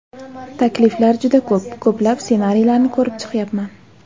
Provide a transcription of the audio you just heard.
Takliflar juda ko‘p, ko‘plab ssenariylarni ko‘rib chiqyapman.